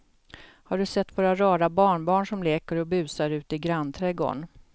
Har du sett våra rara barnbarn som leker och busar ute i grannträdgården!